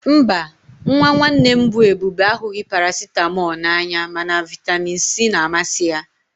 Mba, nwa nwanne m bụ Ebube ahụghị Paracịtamọl n'anya mana vitamin C na-amasị ya